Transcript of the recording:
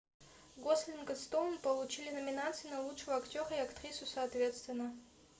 гослинг и стоун получили номинации на лучшего актера и актрису соответственно